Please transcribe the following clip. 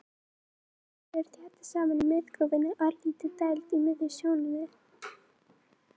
Keilurnar eru þéttast saman í miðgrófinni, örlítilli dæld í miðri sjónunni.